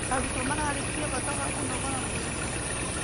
Arutwo mararĩrĩria bata wa kũnogora mwĩrĩ.